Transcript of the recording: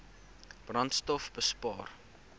brandstofbespaar